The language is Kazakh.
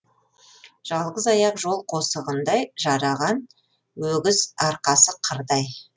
жалғыз аяқ жол қосығындай жараған өгіз арқасы қырдай